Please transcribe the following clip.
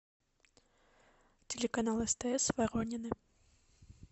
телеканал стс воронины